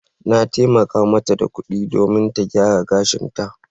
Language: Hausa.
Na taimaka mata da kuɗi domin ta gyara gashinta.